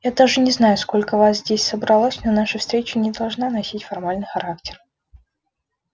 я даже не знаю сколько вас здесь собралось но наша встреча не должна носить формальный характер